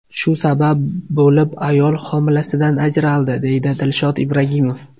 Shu sabab bo‘lib ayol homilasidan ajraldi”, deydi Dilshod Ibragimov.